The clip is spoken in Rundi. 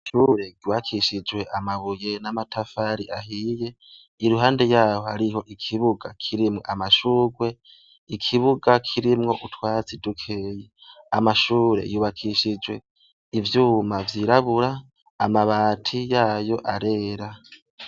Ishure ryubakishijwe amabuye n'amatafari ahiye, iruhande yaho harho ikibuga kirimwo amashurwe, ikibuga kirimwo utwatsi dujeyi, amashure yubakishijwe ivyuma vyirabura amabati yayo arera.